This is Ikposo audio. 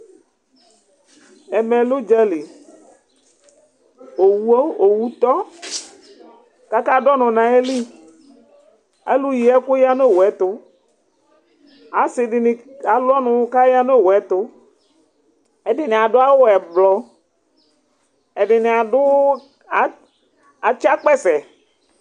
Ɛmɛ lɛ udzali, owo, owu tɔ , ku aka du ɔnu nu ayili , alu yi ɛku ya nu ata mi ɛtu, asi dini alu ɔnu kaya nu owu yɛ tu , ɛdini adu awu ɛblɔ, ɛdini adu, a, atsa akpɛsɛ